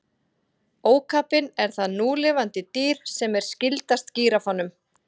Ókapinn er það núlifandi dýr sem er skyldast gíraffanum.